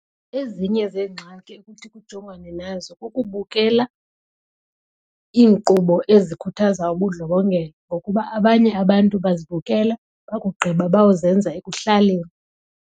Ezinye zeengxaki okuthi kujongwane nazo kukubukela iinkqubo ezikhuthaza ubundlobongela ngokuba abanye abantu bazibukela bakugqiba bayozenza ekuhlaleni.